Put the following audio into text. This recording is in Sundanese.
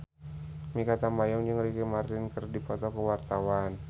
Mikha Tambayong jeung Ricky Martin keur dipoto ku wartawan